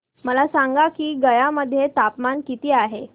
मला सांगा की गया मध्ये तापमान किती आहे